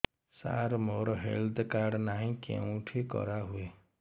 ସାର ମୋର health card ନାହିଁ କେଉଁଠି କରା ହୁଏ